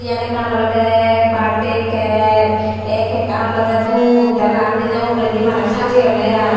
iyen ekkan olodey baadday cake sei kekkan olodey dup tey laed diney uguredi maneh sajeyonney ai.